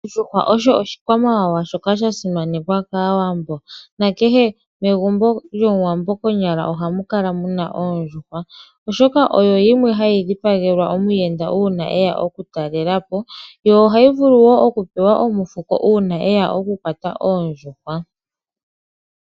Ondjuhwa osho oshikwamawawa shoka sha simanekwa kaawambo nakehe megumbo lyomuwambo konyala ohamu kala muna oondjuhwa oshoka oyo yimwe hayi dhi pagelwa omuyenda uuna eya oku talelapo yo ohayi vulu okupewa omufuko uuna eya okukwata oondjuhwa.